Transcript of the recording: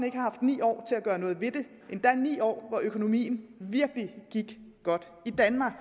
ikke har haft ni år til at gøre noget ved det endda ni år hvor økonomien virkelig gik godt i danmark